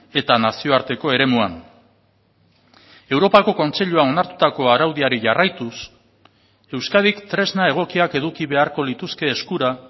eta nazioarteko eremuan europako kontseiluan onartutako araudiari jarraituz euskadik tresna egokiak eduki beharko lituzke eskura